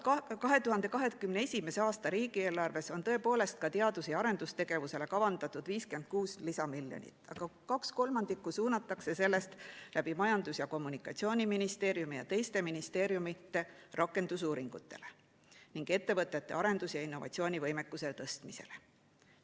2021. aasta riigieelarves on tõepoolest ka teadus‑ ja arendustegevusele kavandatud 56 lisamiljonit, aga kaks kolmandikku suunatakse sellest Majandus‑ ja Kommunikatsiooniministeeriumi ja teiste ministeeriumide kaudu rakendusuuringutele ning ettevõtete arendus‑ ja innovatsioonivõimekuse tõstmiseks.